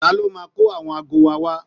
Ta ló máa kó àwọn aago wa wá